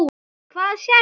Hvað sérðu?